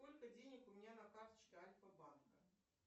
сколько денег у меня на карточке альфа банка